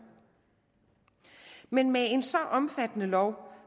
men med en så omfattende lov